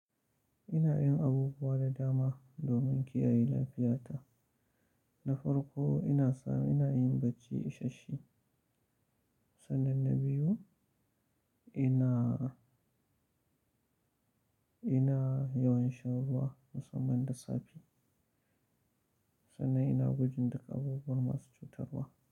Ina yin abubuwa da dama domin kiyaye lafiyata. Na farko ina sam, ina yin bacci ishashshe Sannan na biyu ina, ina yawan shan ruwa musamman da safe. Sannan ina gwajin gudun duk abubuwanmasu cutarwa.